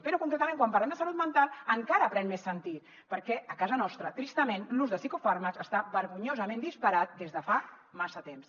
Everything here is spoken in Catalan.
però concretament quan parlem de salut mental encara pren més sentit perquè a casa nostra tristament l’ús de psicofàrmacs està vergonyosament disparat des de fa massa temps